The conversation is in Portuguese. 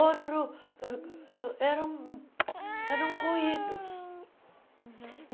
Outro uh uh eram eram ruídos.